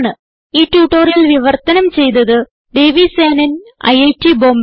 ഈ ട്യൂട്ടോറിയൽ വിവർത്തനം ചെയ്തത് ദേവി സേനൻ ഐറ്റ് ബോംബേ